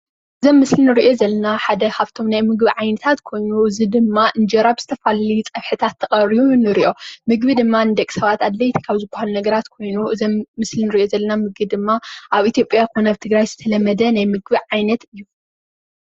እዚ ኣብ ምስሊ ንሪኦ ዘለና ምግቢ ሓደ ካብቶም ዓይነታት ምግቢ ኮይኑ እዚ ድማ እንጀራ ብዝተፈላለዩ ፀብሕታት ተቐሪቡ ንሪኦ። ምግቢ ድማ ንደቂ-ሰባት ኣድለቲ ካብ ዝበሃሉ ኮይኑ እዚ ኣብ ምስሊ ንሪኦ ዘለና ምግቢ ድማ ኣብ ኢትዮጲያ ኮነ ኣብ ትግራይ ዝተለመደ ናይ ምግቢ ዓይነት እዩ ።